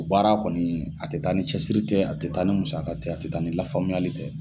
O baara kɔni, a tɛ taa ni cɛsiri tɛ, a tɛ taa ni musa ka tɛ, a tɛ taa ni lafamuyali tɛ.